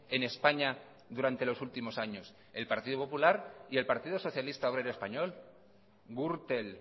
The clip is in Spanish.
en españa durante los últimos años el partido popular y el partido socialista obrero español gürtel